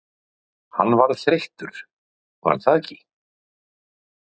Hann varð þreyttur var það ekki?